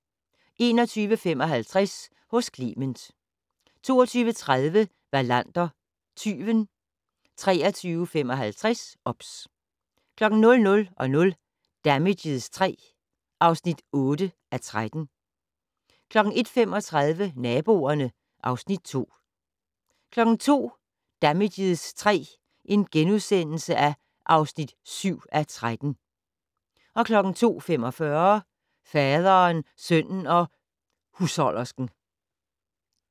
21:55: Hos Clement 22:30: Wallander: Tyven 23:55: OBS 00:00: Damages III (8:13) 01:35: Naboerne (Afs. 2) 02:00: Damages III (7:13)* 02:45: Faderen, sønnen og husholdersken